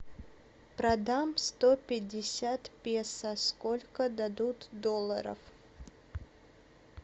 продам сто пятьдесят песо сколько дадут долларов